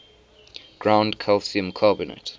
ground calcium carbonate